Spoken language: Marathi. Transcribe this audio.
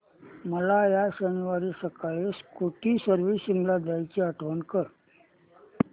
मला या शनिवारी सकाळी स्कूटी सर्व्हिसिंगला द्यायची आठवण कर